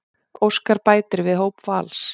Óskar bætir við hóp Vals